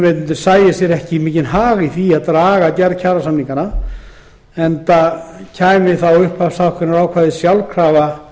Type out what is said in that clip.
vinnuveitendur sjái sér ekki mikinn hag í að draga gerð kjarasamninga á langinn enda kemur upphafshækkunarákvæðið þá sjálfkrafa